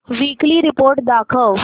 weekly report दाखव